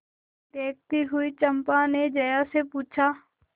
देखती हुई चंपा ने जया से पूछा